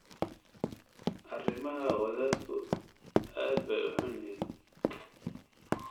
Arrimaha wadaadku aad bay u xun yihiin